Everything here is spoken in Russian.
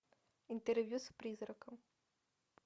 интервью с призраком